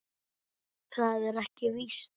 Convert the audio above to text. Það er ekki víst.